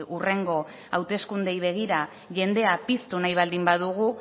hurrengo hauteskundeei begira jendea piztu nahi baldin badugu